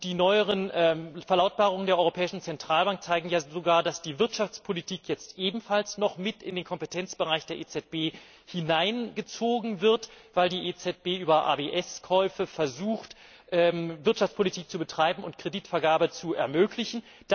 Die neueren Verlautbarungen der Europäischen Zentralbank zeigen ja sogar, dass die Wirtschaftspolitik jetzt ebenfalls noch mit in den Kompetenzbereich der EZB hineingezogen wird, weil die EZB über ABS Käufe versucht, Wirtschaftspolitik zu betreiben und die Kreditvergabe zu ermöglichen.